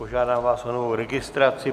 Požádám vás o novou registraci.